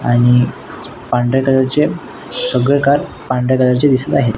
आणि पांढऱ्या कलर चे सगळे कार पांढऱ्या कलर चे दिसत आहेत.